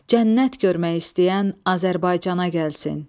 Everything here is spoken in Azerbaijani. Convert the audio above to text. Cənnət görmək istəyən Azərbaycana gəlsin.